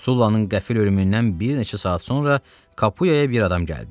Sullannın qəfil ölümündən bir neçə saat sonra Kapuyaya bir adam gəldi.